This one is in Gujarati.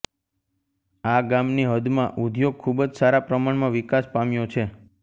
આ ગામની હદમાં ઉધોગ ખુબજ સારા પ્રમાણમાં વિકાસ પામ્યો છે